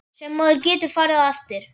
Sem maður getur farið eftir.